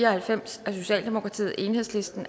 og halvfems